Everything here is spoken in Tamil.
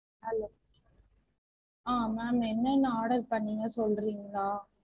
Hello அஹ் ma'am என்ன என்ன order பண்ணிங்க சொல்றீங்களா?